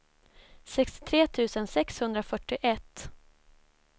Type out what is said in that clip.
sextiotre tusen sexhundrafyrtioett